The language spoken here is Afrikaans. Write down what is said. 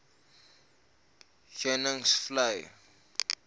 heuningvlei